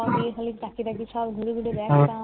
সব তাকিয়ে তাকিয়ে সব হলুদ হলুদ